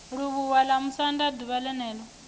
livhuwa vhamusanda d uvha ḽenelo